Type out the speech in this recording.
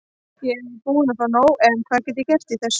Ég er búinn að fá nóg en hvað get ég gert í þessu?